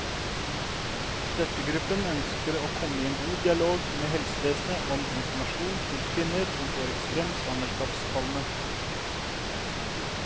Støttegruppen ønsker å komme i en god dialog med helsevesenet om informasjon til kvinner som får ekstrem svangerskapskvalme.